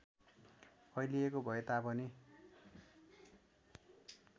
फैलिएको भए तापनि